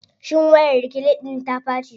Shin wayar reclean ɗIn ta ɓaci.